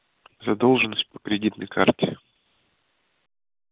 задолженность по кредитной карте